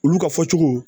Olu ka fɔcogo